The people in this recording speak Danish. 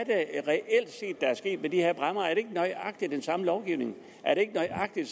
sket i de her bræmmer er det ikke nøjagtig den samme lovgivning er det ikke nøjagtig